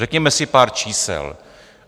Řekněme si pár čísel.